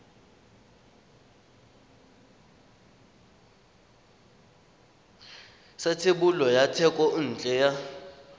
sa thebolo ya thekontle ya